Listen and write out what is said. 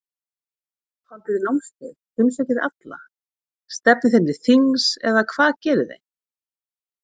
Haldið þið námskeið, heimsækið þið alla, stefnið þeim til þings eða hvað gerið þið?